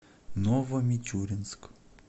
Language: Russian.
новомичуринск